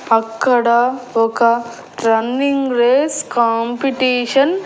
అక్కడ ఒక running race competition --